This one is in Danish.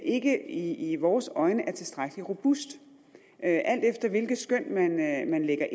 ikke i vores øjne er tilstrækkelig robust alt efter hvilke skøn man anlægger